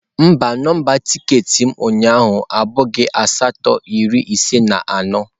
Mba, nọmba tiketi m ụnyaahụ abụghị asatọ iri ise na anọ.